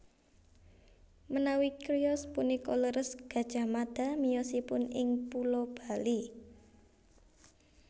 Menawi criyos punika leres Gajah Mada miyosipun ing pulo Bali